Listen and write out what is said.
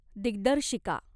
दिग्दर्शिका